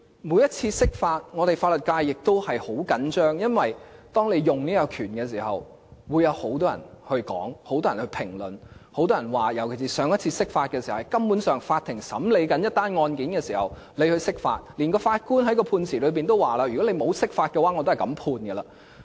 每次釋法法律界也十分緊張，因為當中央運用這個權力時會有很多人談論，很多人評論，尤其是上次釋法根本是在法庭正在審理一宗個案時進行，連法官在判詞中也表示，如果沒有釋法，他也是這樣判決。